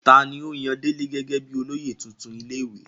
ta ni ó yan délé gẹ́gẹ́ bíi olóyè tuntun ilé ìwé?